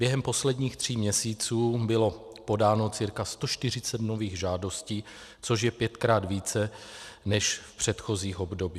Během posledních tří měsíců bylo podáno cca 140 nových žádostí, což je pětkrát více než v předchozích obdobích.